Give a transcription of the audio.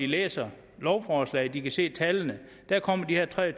læser lovforslaget hvor de kan se tallene der kommer de her tre